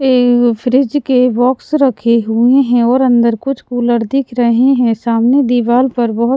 ऐ उ फ्रिज के बॉक्स रखे हुए हैं और अंदर कुछ कूलर दिख रहे हैं सामने दीवाल पर --